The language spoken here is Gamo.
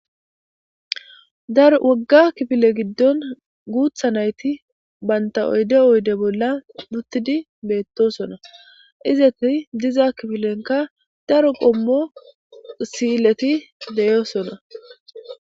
Daro woga kifile gidon gutha nayt banta oyde oyde bolla utid betosona. Izet diza kifilenka daro qomo si'ilet de'osona.